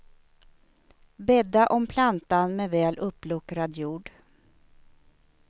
Bädda om plantan med väl uppluckrad jord.